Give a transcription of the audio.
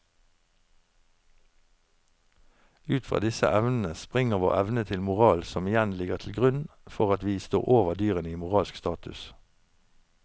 Ut fra disse evnene springer vår evne til moral som igjen ligger til grunn for at vi står over dyrene i moralsk status.